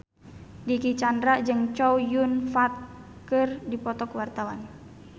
Dicky Chandra jeung Chow Yun Fat keur dipoto ku wartawan